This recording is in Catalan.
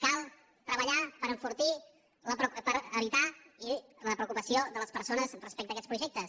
cal treballar per evitar la preocupació de les persones respecte a aquests projectes